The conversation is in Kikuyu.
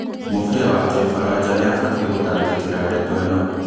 Mũbĩa wa kĩfaranja nĩabatie gũtangĩkĩra ndeto ĩno